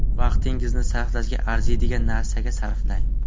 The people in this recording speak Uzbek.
Vaqtingizni sarflashga arziydigan narsaga sarflang.